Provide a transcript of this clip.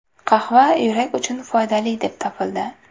Qahva yurak uchun foydali deb topildi.